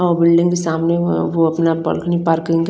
और उनके सामने --